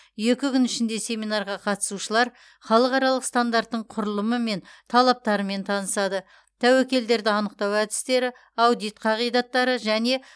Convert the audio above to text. екі күн ішінде семинарға қатысушылар халықаралық стандарттың құрылымы мен талаптарымен танысады тәуекелдерді анықтау әдістері аудит қағидаттары және